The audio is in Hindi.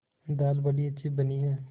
दाल बड़ी अच्छी बनी है